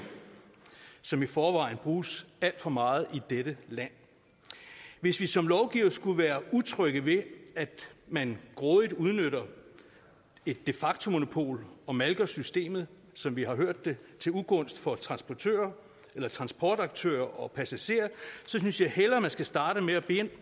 som i forvejen bruges alt for meget i dette land hvis vi som lovgivere skulle være utrygge ved at man grådigt udnytter et de facto monopol og malker systemet som vi har hørt det til ugunst for transportaktører og transportaktører og passagerer synes jeg hellere vi skal starte med at bede